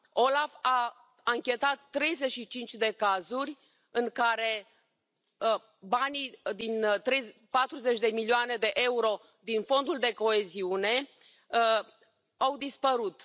OLAF a anchetat 35 de cazuri în care 40 de milioane de euro din Fondul de coeziune au dispărut.